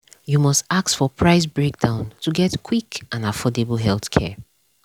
you must ask for price breakdown to get quick and affordable healthcare.